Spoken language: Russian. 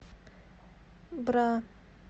бра